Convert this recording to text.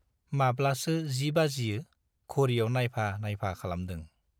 माब्लासो जि बाजियो घड़ीयाव नाइफा नाइफा खालामदों।